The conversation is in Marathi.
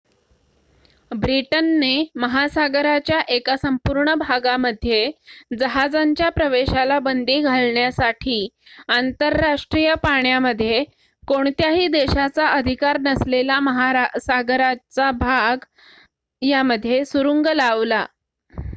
ब्रिटनने महासागराच्या एका संपूर्ण भागामध्ये जहाजांच्या प्रवेशाला बंदी घालण्यासाठी आंतरराष्ट्रीय पाण्यामध्ये कोणत्याही देशाचा अधिकार नसलेला महासागराचा भाग सुरुंग लावला